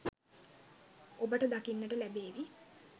ඔබට දකින්නට ලැබේවි